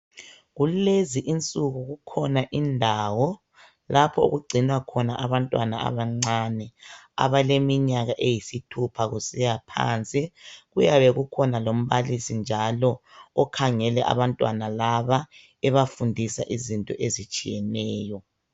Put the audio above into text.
Kulezi insuku kukhona indawo lapho okugcinwa khona abantwana abancane abaleminyaka eyisithupha kusiya phansi. Kuyabe kukhona lombalisi njalo okhangele abantwana laba ebafundisa izinto ezitshiyeneyo.